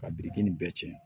Ka biriki nin bɛɛ cɛn